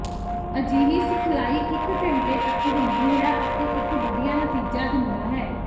ਅਜਿਹੀ ਸਿਖਲਾਈ ਇਕ ਘੰਟੇ ਤਕ ਹੁੰਦੀ ਹੈ ਅਤੇ ਇਕ ਵਧੀਆ ਨਤੀਜਾ ਦਿੰਦਾ ਹੈ